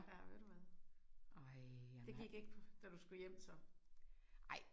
Ja ved du hvad. Det gik ikke da du skulle hjem så?